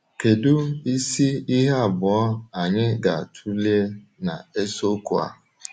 Kedu isi ihe abụọ anyị ga-atụle na isiokwu a?